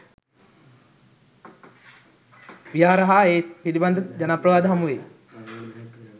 විහාර හා ඒ පිළිබඳ ජනප්‍රවාද හමුවෙයි.